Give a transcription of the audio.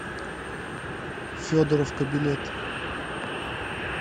федоровка билет